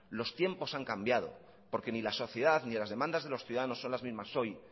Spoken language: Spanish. los tiempos han cambiado porque ni la sociedad ni las demandas de los ciudadanos son las mismas hoy